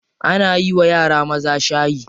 Ana yiwa yara maza shayi.